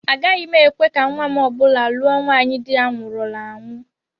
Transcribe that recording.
Agaghị m ekwe ka nnwa m ọ bụla lụọ nwaanyị di ya nwụrụla anwụ